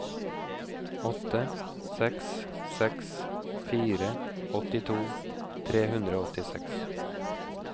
åtte seks seks fire åttito tre hundre og åttiseks